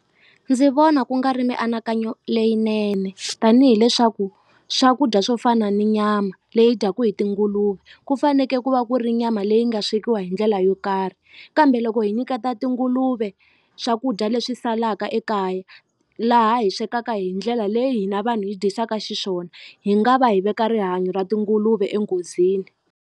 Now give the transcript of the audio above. Ndzi vona ku nga ri mianakanyo leyinene tanihileswaku swakudya swo fana ni nyama leyi dyaku hi tinguluve ku faneke ku va ku ri nyama leyi nga swekiwa hi ndlela yo karhi kambe loko hi nyiketa tinguluve swakudya leswi salaka ekaya laha hi swekaka hi ndlela leyi hina vanhu hi dyisaka xiswona hi nga va hi veka rihanyo ra tinguluve enghozini.